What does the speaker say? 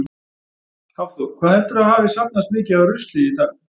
Hafþór: Hvað heldurðu að hafi safnast mikið af rusli í dag?